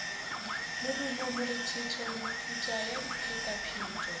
morumo morethetho metuta ya diphetapheto